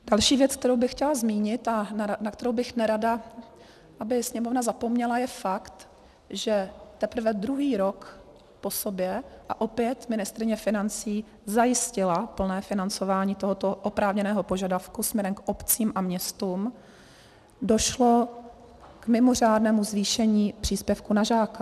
Další věc, kterou bych chtěla zmínit a na kterou bych nerada, aby Sněmovna zapomněla, je fakt, že teprve druhý rok po sobě, a opět ministryně financí zajistila plné financování tohoto oprávněného požadavku směrem k obcím a městům, došlo k mimořádnému zvýšení příspěvku na žáka.